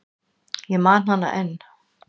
Ég man hana enn.